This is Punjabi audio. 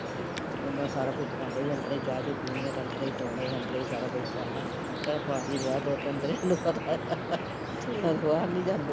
ਓਹਨਾਂ ਨੇ ਸਾਰਾ ਕੁਛ ਭਾਂਡੇ ਵੀ ਅੰਦਰੇ ਚਾਹ ਚੁ ਵੀ ਪੀਣੀ ਐ ਤਾਂ ਅੰਦਰੇ ਧੋਣੇ ਐ ਅੰਦਰੇ ਸਾਰਾ ਕੁਸ਼ ਕਰਨਾ, ਤੇਰਾ ਭਾਜੀ ਰਿਹਾ ਦੋ ਤਿੰਨ ਦਿਨ ਏਹਨੂੰ ਪਤਾ ਐ, ਵੀ ਓਹ ਬਾਹਰ ਨੀ ਜਾਂਦੇ